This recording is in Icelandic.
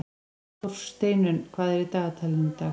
Þórsteinunn, hvað er í dagatalinu í dag?